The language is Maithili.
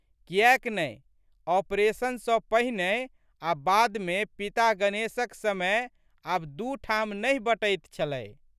कियैक नहि ऑपरेशन सँ पहिने आ बादमे पिता गणेशक समय आब दू ठाम नहि बँटैत छलै।